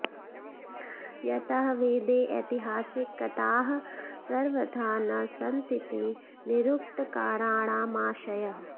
यतः वेदे ऐतिहासिक कथाः सर्वथा न सन्तीति निरुक्तकाराणामाशयः